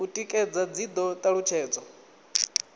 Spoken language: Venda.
u tikedza dzi do talutshedzwa